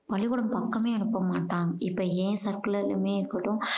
பள்ளிக்கூடம் பக்கமே அனுப்ப மாட்டாங்க. இப்போ ஏன் circle எல்லாமே இருக்கட்டும்